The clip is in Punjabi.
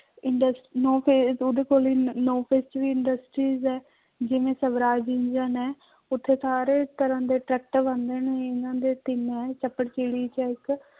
ਇਡਸ ਉਹਦੇ ਕੋਲ ਨੋਂ ਫੇਸ ਚ ਵੀ industries ਹੈ ਜਿਵੇਂ ਸਵਰਾਜ ਇੰਜਣ ਹੈ ਉੱਥੇ ਸਾਰੇ ਤਰ੍ਹਾਂ ਦੇ ਟਰੈਕਟਰ ਬਣਦੇ ਨੇ ਇਹਨਾਂ ਦੇ ਤਿੰਨ ਹੈ ਚਪੜਚਿੜੀ ਚ ਹੈ ਇੱਕ।